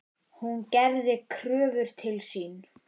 Hún gerði kröfur til sín.